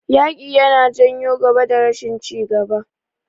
Yaƙi yana janyo gaba da rashin ci gaba.